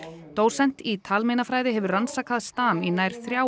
dósent í hefur rannsakað stam í nær þrjá